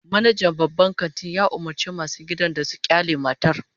Manajan babban kantin ya umurci masu gadin da su kyale matar